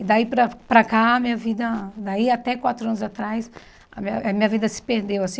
E daí para para cá, minha vida... Daí até quatro anos atrás, a minha a minha vida se perdeu, assim.